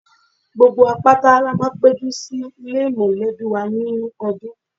Gbogbo wa pátá ni a máa ń péjú sì ilé mọ̀lẹ́bí wa nínú ọdún